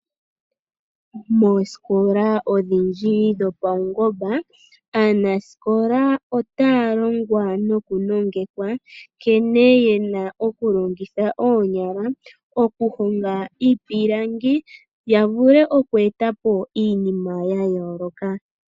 Moosikola odhindji dhopawungomba aanasikola otaa longwa noku nongekwa, nkene yena oku longitha oonyala oku honga iipilangi yavule oku etapo iinima ya yooloka ya landithe yo yamone oshimaliwa.